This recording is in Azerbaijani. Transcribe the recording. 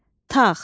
Tağ,